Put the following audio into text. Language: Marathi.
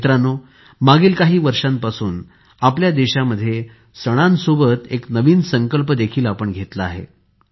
मित्रांनो मागील काही वर्षांपासून आपल्या देशामध्ये सणांसोबत एक नवीन संकल्प देखील आपण घेतला आहे